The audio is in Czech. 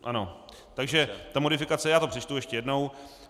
Ano, takže ta modifikace, já to přečtu ještě jednou.